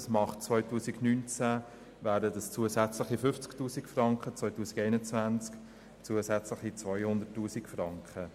Im Jahr 2019 würde das zusätzlich 50 000 Franken ausmachen, im Jahr 2021 wären es zusätzliche 200 000 Franken.